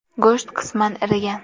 Go‘sht qisman irigan.